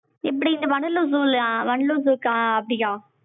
இப்படியா இந்த வண்டலூர் zoo அப்டியா